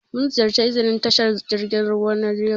Mun ziƴarci iznin tashar jirgin ruwa na legas.